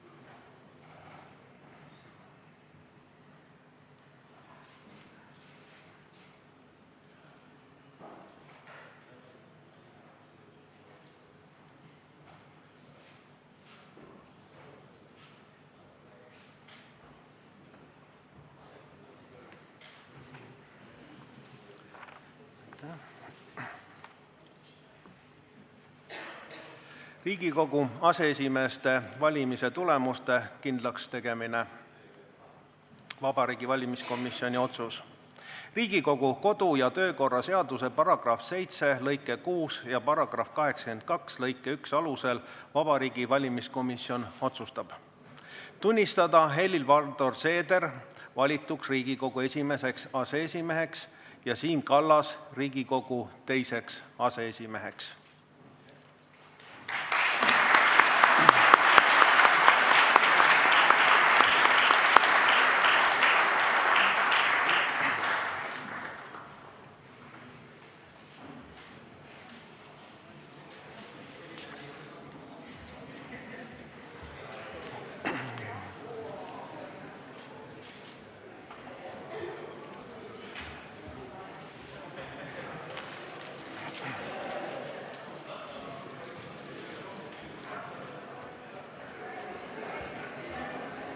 "Vabariigi Valimiskomisjoni otsus "Riigikogu aseesimeeste valimise tulemuste kindlakstegemine": Riigikogu kodu- ja töökorra seaduse § 7 lõike 6 ja § 82 lõike 1 alusel Vabariigi Valimiskomisjon otsustab: tunnistada Helir-Valdor Seeder valituks Riigikogu esimeseks aseesimeheks ja Siim Kallas Riigikogu teiseks aseesimeheks.